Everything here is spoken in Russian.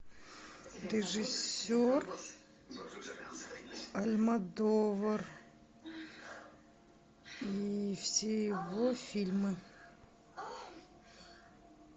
режиссер альмодовар и все его фильмы